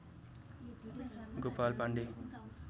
Gopal Pandey